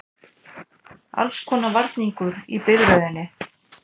Allskonar varningur í biðröðinni.